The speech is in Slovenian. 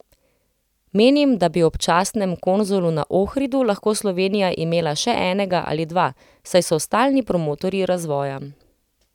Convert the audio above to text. Menim, da bi ob častnem konzulu na Ohridu lahko Slovenija imela še enega ali dva, saj so stalni promotorji razvoja.